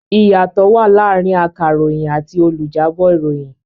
Ìyàtọ̀ wà láàrin akàròyìn àti olùjábọ̀ ìròyìn.